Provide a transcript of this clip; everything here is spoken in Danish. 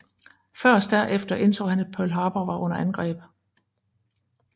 Først derefter indså han at Pearl Harbor var under angreb